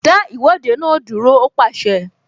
Dá Ìwọ́de náà dúró! Ó pàṣẹ